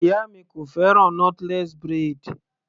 Ìyá mi kò fẹ́ràn knotless braid.